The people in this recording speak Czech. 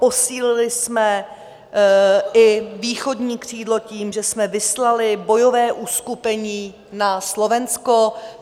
Posílili jsme i východní křídlo tím, že jsme vyslali bojové uskupení na Slovensko.